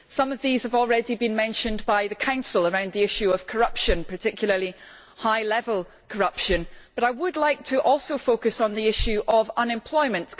Some of these have already been mentioned by the Council around the issue of corruption, and particularly high level corruption, but I would like also to focus on the issue of unemployment.